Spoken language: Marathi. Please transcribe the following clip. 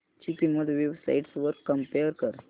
ची किंमत वेब साइट्स वर कम्पेअर कर